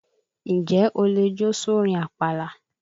N jẹ́ o lè jó sórin àpàlà?